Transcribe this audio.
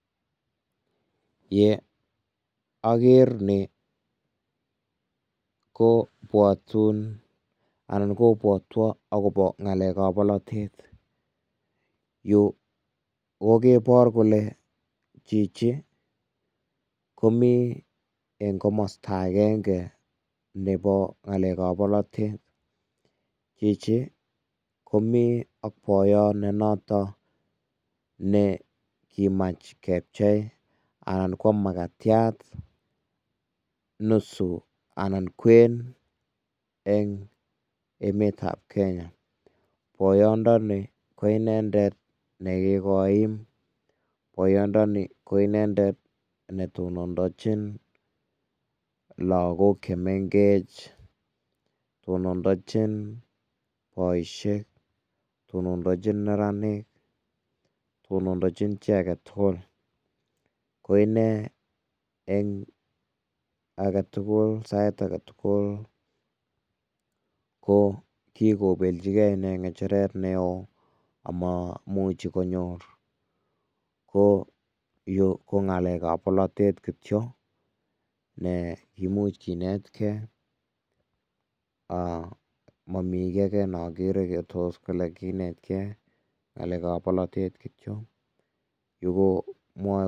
Ye aker nii, kobwotun anan kobwotwon akobo ngalekab bolotet, yu kokobor kole chichi komi eng komasta agenge nebo ngalekab bolotet, chichi komi ak boyot nenoto ne kimach kepchei anan koam makatiat nusu anan kwen eng emet ab Kenya, boyondoni ko inendet ne kikoim, boyondoni ko inendet ne tononchin lakok chemengech, tononchin boisiek, che tononchin neranik, tononchin icheket tugul, ko inee eng sait ake tukul ko kikobeljike inee ngecheret neo amomuchi konyor, ko Yu ko ngalekab bolotet kityok, me kimuch kinetke momi ake ne akere ne imuch kinetke, ngalekab bolotet kityok.